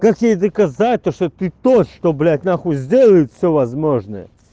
как ей доказать то что ты тот блять нахуй сделает всё возможное